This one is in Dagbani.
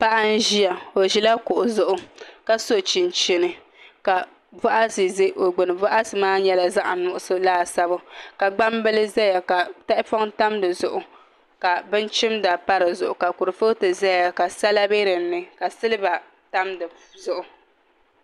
Paɣa n ʒiya o ʒila kuɣu zuɣu ka so chinchini ka boɣati ʒɛ o gbuni boɣati maa nyɛla zaɣ nuɣso laasabu ka gbambili ʒɛya ka tahapoŋ tam di zuɣu ka bin chimda pa di zuɣu ka kurifooti ʒɛya ka sala bɛ dinni ka silba tam dizuɣu